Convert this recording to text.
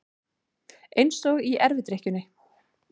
Eins og í erfidrykkjunni.